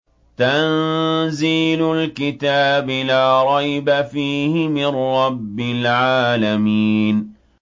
تَنزِيلُ الْكِتَابِ لَا رَيْبَ فِيهِ مِن رَّبِّ الْعَالَمِينَ